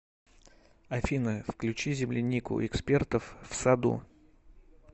афина включи землянику экспертов в саду